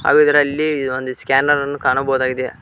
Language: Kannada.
ಹಾಗು ಇದರಲ್ಲಿ ಒಂದು ಸ್ಕ್ಯಾನರ್ ಅನ್ನು ಕಾಣಬಹುದಾಗಿದೆ.